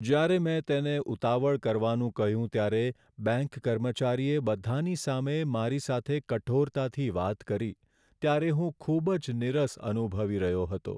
જ્યારે મેં તેને ઉતાવળ કરવાનું કહ્યું ત્યારે બેંક કર્મચારીએ બધાંની સામે મારી સાથે કઠોરતાથી વાત કરી ત્યારે હું ખૂબ જ નીરસ અનુભવી રહ્યો હતો.